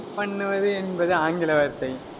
wait பண்ணுவது என்பது ஆங்கில வார்த்தை.